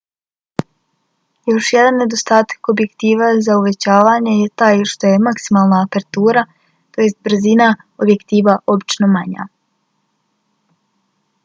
još jedan nedostatak objektiva za uvećavanje je taj što je maksimalna apertura brzina objektiva obično manja